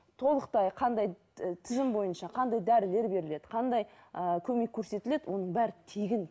толықтай қандай тізім бойынша қандай дәрілер беріледі қандай ы көмек көрсетіледі оның бәрі тегін